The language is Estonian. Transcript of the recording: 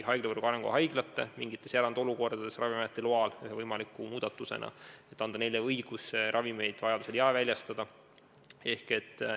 Ühe võimaliku muudatusena võiks mingites erandolukordades Ravimiameti loal anda haiglatele õiguse ravimeid vajaduse korral jaeväljastada.